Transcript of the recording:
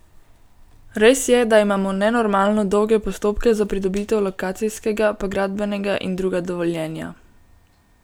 Res je, da imamo nenormalno dolge postopke za pridobitev lokacijskega, pa gradbenega in druga dovoljenja.